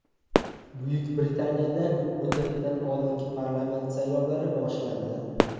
Buyuk Britaniyada muddatidan oldingi parlament saylovlari boshlandi.